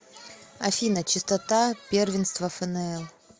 афина частота первенство фнл